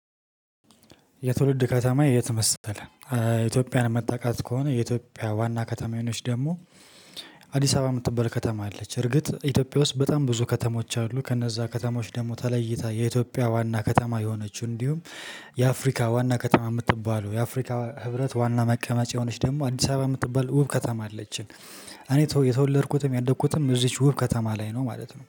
የትውልድ ከተማ የት መሰለህ? ኢትዮጵያን መታቃት ከሆነ የኢትዮጵያ ዋና ከተማ የሆነች ደግሞ አዲስ አበባ የምትባል ከተማ አለች። እርግጥ ኢትዮጵያ ውስጥ በጣም ብዙ ከተሞች አሉ። ከነዛ ከተሞች ደግሞ ተለይታ የኢትዮጵያ ዋና ከተማ የሆነችው እንዲሁም የአፍሪካ ዋና ከተማ የምትባለው የአፍሪካ ህብረት ዋና መቀመጫ የሆነች ደግሞ አዲስ አበባ የምትባል ውብ ከተማ አለችን። እኔ የተወለድኩትም ያደግኩትም እዚች ውብ ከተማ ላይ ነው ማለት ነው